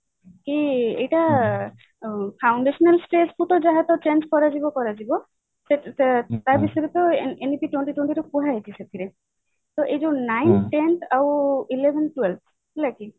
କି ଏଇଟା foundational stage କୁ ତ ଯାହା change କରାଯିବ କରାଯିବ ତା ବିଷୟରେ ତ ଏମିତି twenty twenty କୁହା ହେଇଛି ସେଥିରେ ତ ଏଇ ଯୋଉ ninth tenth ଆଉ eleven twelve ହେଲା କି